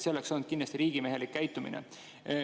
See oleks olnud kindlasti riigimehelik käitumine.